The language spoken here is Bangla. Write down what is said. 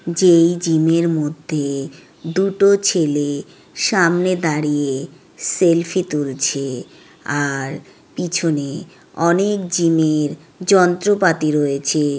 যেই জিম -এর মধ্যে দুটো ছেলে সামনে দাঁড়িয়ে সেলফি তুলছে আর পিছনে অনেক জিম -এর যন্ত্রপাতি রয়েছে ।